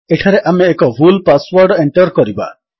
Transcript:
ଏଠାରେ ଆମେ ଏକ ଭୁଲ୍ ପାସୱର୍ଡ ଏଣ୍ଟର୍ କରିବା